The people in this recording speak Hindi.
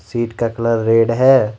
सीट का कलर रेड है।